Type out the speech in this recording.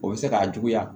O bɛ se k'a juguya